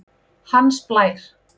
Hans Blær